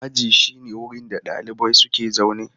Aji shine wurin da ɗalibai suke zaune.